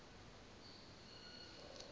hayi ke emva